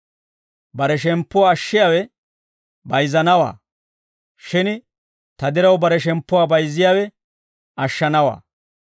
Bare shemppuwaa ashshiyaawe bayizzanawaa; shin ta diraw bare shemppuwaa bayizziyaawe ashshanawaa.